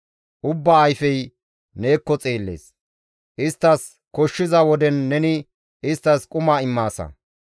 Ubbaa ayfey neekko xeellees; isttas koshshiza woden neni isttas quma immaasa.